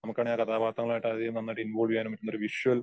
നമുക്ക് ആണേൽ ആയിട്ട് അതിലും നന്നായിട്ട് ഇൻവോൾവ് ചെയ്യാനും പറ്റുന്ന ഒരു വിഷ്വൽ